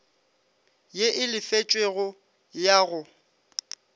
ye e lefetšwego ya go